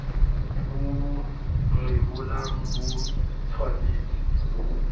bo bo rebolang bo tshwanetse